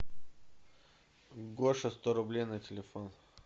гоша сто рублей на телефон